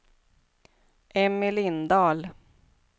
Emmy Lindahl